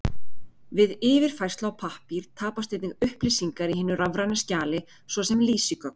Við yfirfærslu á pappír tapast einnig upplýsingar í hinu rafræna skjali, svo sem lýsigögn.